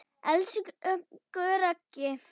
Elsku Raggi.